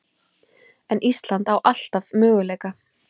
En Ísland á alltaf möguleika